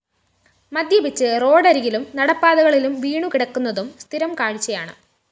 മദ്യപിച്ച് റോഡരികിലും നടപ്പാതകളിലും വീണുകിടക്കുന്നതും സ്ഥിരം കാഴ്ചയാണ്